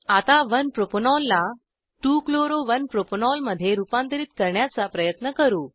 आता 1 प्रोपॅनॉल ला 2 chloro 1 propanol मध्ये रुपांतरीत करण्याचा प्रयत्न करू